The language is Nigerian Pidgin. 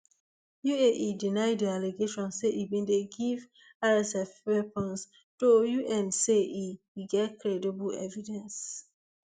uae deny di allegations say e bin dey give rsf weapons though un say e e get credible evidence